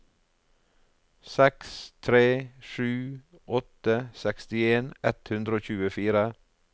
seks tre sju åtte sekstien ett hundre og tjuefire